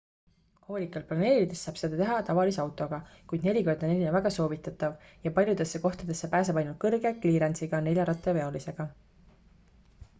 hoolikalt planeerides saab seda teha tavalise autoga kuid 4x4 on väga soovitatav ja paljudesse kohtadesse pääseb ainult kõrge kliirensiga neljarattaveolisega